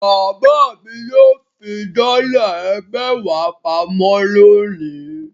Bàbá mi yóò fi dọ́là ẹgbẹ̀wá pa mọ́ lónìí.